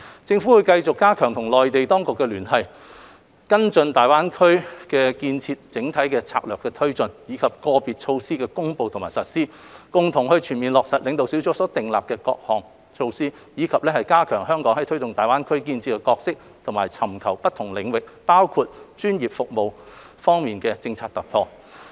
政府會繼續加強與內地當局的聯繫，跟進大灣區建設整體政策的推進，以至個別措施的公布和實施，共同全面落實領導小組所訂立的各項措施，以及加強香港在推動大灣區建設的角色和尋求不同領域，包括專業服務方面的政策突破。